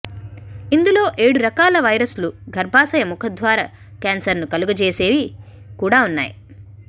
ఇందులో ఏడు రకాల వైరస్లు గర్భాశయ ముఖద్వార క్యాన్సర్ను కలుగజేసేవి కూడా ఉన్నాయి